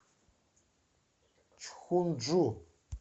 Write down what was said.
чхунджу